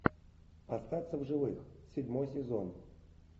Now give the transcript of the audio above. остаться в живых седьмой сезон